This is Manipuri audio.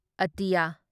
ꯑ